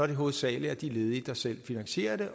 det hovedsagelig er de ledige der selv finansierer det